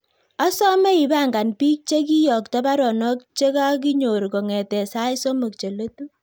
Asame ipangan pik chegiiyokto baruonok chegogaginyor kongeten sait somok cheletu